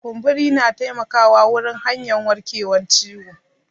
Kumburi na taimaka wurin hanyan warkewan ciwo.